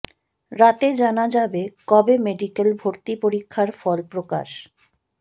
রাতে জানা যাবে কবে মেডিকেল ভর্তি পরীক্ষার ফল প্রকাশ